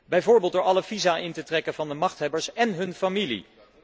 Bijvoorbeeld door alle visa in te trekken van de machthebbers en hun familie.